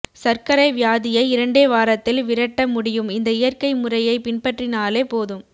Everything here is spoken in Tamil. சர்க்கரை வியாதியை இரண்டே வாரத்தில் விரட்ட முடியும் இந்த இயற்கை முறையை பின்பற்றினாலே போதும்